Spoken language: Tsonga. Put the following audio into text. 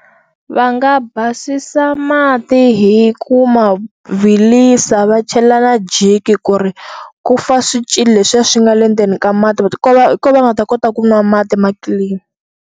Va nga basisa mati hi ku mavilisa va chela na jiki ku ri ku fa swicili leswiya swi nga le ndzeni ka mati va ta ko va ko va nga ta kota ku nwa mati ma clean.